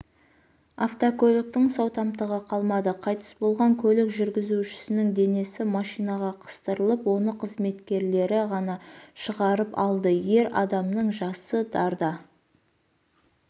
автокөліктің сау тамтығы қалмады қайтыс болған көлік жүргізушісінің денесі машинаға қыстырылып оны қызметкерлері ғана шығарып алды ер адамның жасы дарда